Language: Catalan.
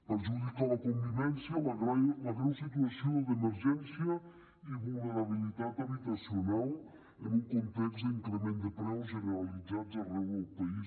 perjudica la convivència la greu situació d’emergència i vulnerabilitat habitacional en un context d’increment de preus generalitzats arreu del país